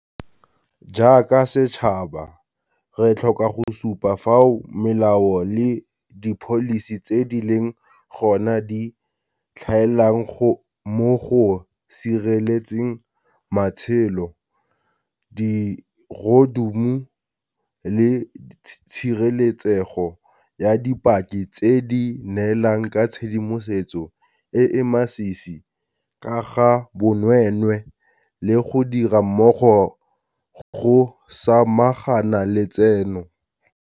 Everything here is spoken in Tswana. Jaaka setšhaba, re tlhoka go supa fao melao le dipholisi tse di leng gona di tlhaelang mo go sireletseng matshelo, dirodumo le tshireletsego ya dipaki tse di neelang ka tshedimosetso e e masisi ka ga bonweenwee le go dira mmogo go samagana le tseno.